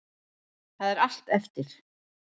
Það er allt eftir.